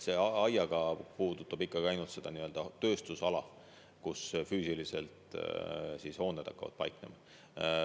See aiaga ala puudutab ikkagi ainult tööstusala, kus hooned füüsiliselt hakkavad paiknema.